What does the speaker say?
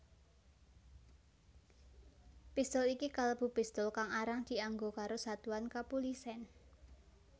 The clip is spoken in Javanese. Pistul iki kalebu pistul kang arang dianggo karo satuan kapulisèn